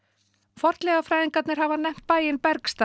fornleifafræðingarnar hafa nefnt bæinn